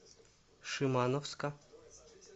шимановска